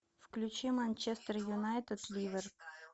включи манчестер юнайтед ливер